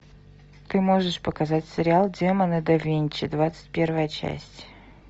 ты можешь показать сериал демоны да винчи двадцать первая часть